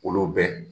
Olu bɛ